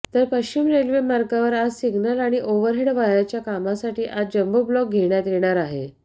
तर पश्चिम रेल्वेमार्गावर आज सिग्नल आणि ओव्हरहेड वायरच्या कामासाठी आज जम्बोब्लॉक घेण्यात येणार आहे